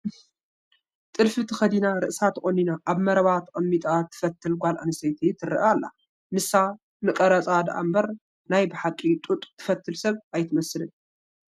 ጥልፊ ተኸዲና ርእሳ ተቖኒና ኣብ መረባ ተቐሚጣ ትፈትል ጓልኣነስተይቲ ትርአ ኣላ፡፡ ንሳ ንቀረፃ ድኣምበር ናይ ብሓቂ ጡጥ ትፈትል ሰብ ኣይትመስልን፡፡